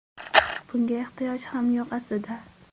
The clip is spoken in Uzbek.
Bunga ehtiyoj ham yo‘q, aslida.